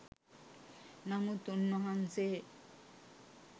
නමුත් උන්වහන්සේ